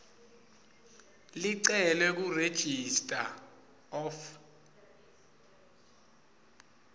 licelwe kuregistrar of